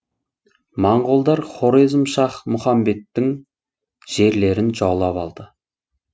моңғолдар хорезм шах мұхамбеттің жерлерін жаулап алды